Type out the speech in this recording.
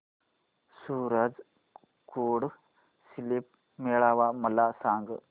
सूरज कुंड शिल्प मेळावा मला सांग